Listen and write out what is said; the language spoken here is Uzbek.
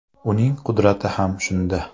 Uning qudrati ham shunda.